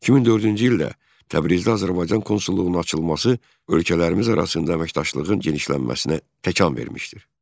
2004-cü ildə Təbrizdə Azərbaycan konsulluğunun açılması ölkələrimiz arasında əməkdaşlığın genişlənməsinə təkan vermişdir.